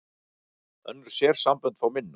Önnur sérsambönd fá minna